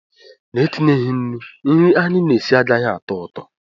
Na-etinyeghị nnu nri anyị na-esi agaghị atọ ụtọ